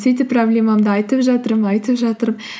сөйтіп проблемамды айтып жатырмын айтып жатырмын